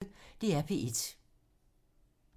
DR P1